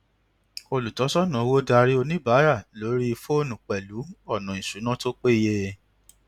olùtọsọnà owó darí oníbàárà lórí fónù pẹlú ọnà ìṣúnná tó peye